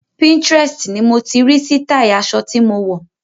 Pinterest ni mo ti rí sítáì aṣọ tí mo wọ̀.